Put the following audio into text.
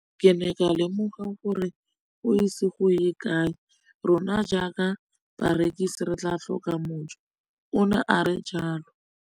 Ke ne ka lemoga gore go ise go ye kae rona jaaka barekise re tla tlhoka mojo, o ne a re jalo.